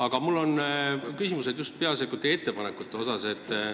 Aga mul on küsimused just peaasjalikult teie ettepanekute kohta.